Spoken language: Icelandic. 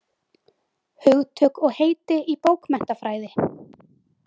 Hugtök og heiti í bókmenntafræði.